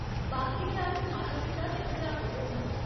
बाकी दे अट्ठ माता पिता ते अध्यापक होङन।